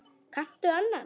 Kanntu annan?